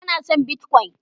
bana son "Bitcoin "